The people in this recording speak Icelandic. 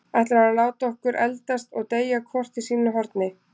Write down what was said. Ætlarðu að láta okkur eldast og deyja hvort í sínu horni?